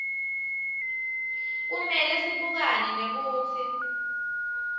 kumele sibukane nekutsi